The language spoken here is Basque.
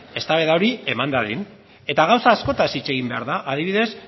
eztabaida hori eman dadin eta gauza askotaz hitz egin behar da adibidez